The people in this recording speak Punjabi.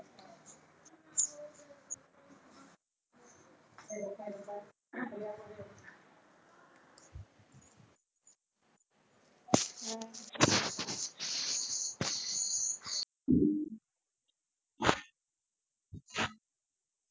ਘ